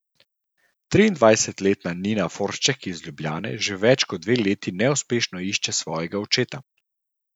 Triindvajsetletna Nina Foršček iz Ljubljane že več kot dve leti neuspešno išče svojega očeta.